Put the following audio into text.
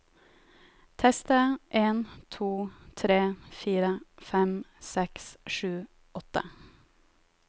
Tester en to tre fire fem seks sju åtte